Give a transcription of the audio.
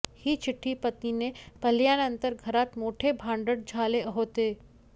ही चिठ्ठी पत्नीने पाहिल्यानंतर घरात मोठे भांडण झाले होते